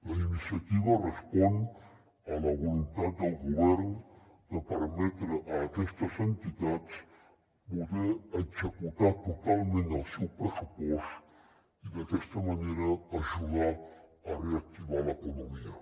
la iniciativa respon a la voluntat del govern de permetre a aquestes entitats poder executar totalment el seu pressupost i d’aquesta manera ajudar a reactivar l’economia